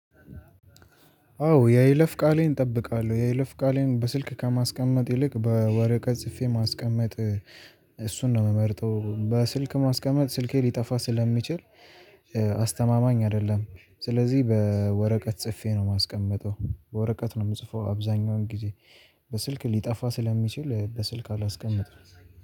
አዎ የይለፍ ቃሌን እጠብቃለሁ። የይለፍ ቃሌን በስልክ ከማስቀመጥ ይልቅ በወረቀት ጽፌ ማስቀመጥ እሱን ነው የምመርጠው። በስልክ ማስቀመጥ ስልኬ ሊጠፋ ስለሚችል አስተማማኝ አይደለም። ስለዚህ በወረቀት ጽፌ ነው የማስቀምጠው በወረቀት ነው የምጽፈው አብዛኛውን ጊዜ በስልክ ሊጠፋ ስለሚችል በስልክ አላስቀምጥም።